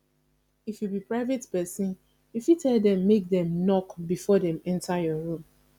if you be private person you fit tell dem make dem knock before dem enter your room